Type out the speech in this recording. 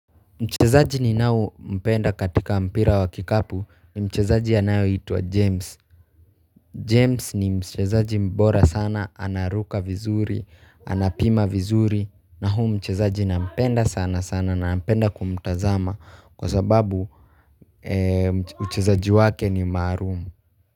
Mchezaji ninaye mpenda katika mpira wa kikapu ni mchezaji anayeitwa James. James ni mchezaji bora sana, anaruka vizuri, anapima vizuri na huyu mchezaji nampenda sana sana na napenda kumtazama kwa sababu uchezaji wake ni maalumu.